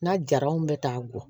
Na jara n bɛ taa gɔ